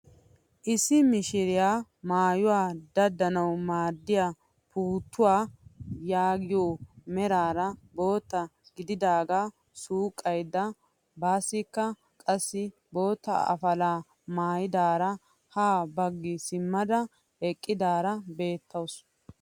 Issi mishiriyaa maayuwaa daddanawu maaddiyaa puuttuwaa yaagiyoo meraara bootta gididagaa suqqayda baasikka qassi bootta afalaa maayidaara ha baggi simmada eqqidaara beettawus.